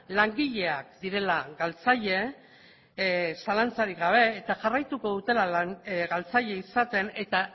langileak direla galtzaile zalantzarik gabe eta jarraituko dutela galtzaile izaten eta